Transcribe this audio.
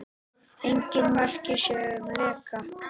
Engin merki séu um leka